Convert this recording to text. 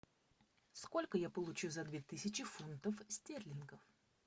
сколько я получу за две тысячи фунтов стерлингов